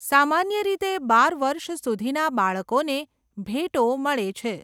સામાન્ય રીતે, બાર વર્ષ સુધીના બાળકોને ભેટો મળે છે.